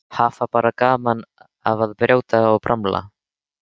Hafa bara gaman af að brjóta og bramla.